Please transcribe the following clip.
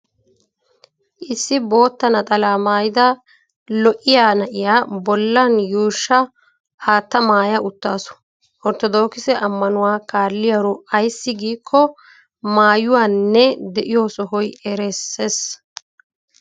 Issi bootta naxalaa maayida lo'iyaa na'iya bollan yuushsha aatta maaya uttaasu. Orttodookise ammanuwa kalliyaaro ayssi giikko maayuwaninne de'iyo sohoy erisses.